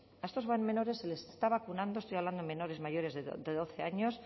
a estos menores se les está vacunando estoy hablando de menores mayores de doce años